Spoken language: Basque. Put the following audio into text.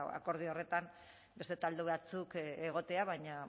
akordio horretan beste talde batzuk egotea baina